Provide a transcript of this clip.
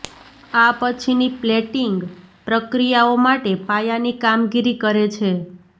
આ પછીની પ્લેટિંગ પ્રક્રિયાઓ માટે પાયાની કામગીરી કરે છે